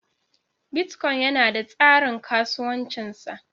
Bitcoin yana da tsarin kasuwancin sa.